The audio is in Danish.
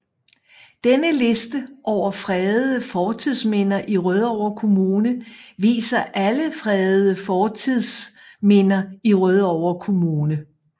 Denne liste over fredede fortidsminder i Rødovre Kommune viser alle fredede fortidsminder i Rødovre Kommune